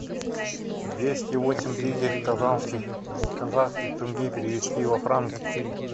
двести восемь тысяч казанских казахских тенге перевести во франки